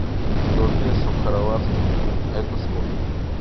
сто песо в хорватских кун это сколько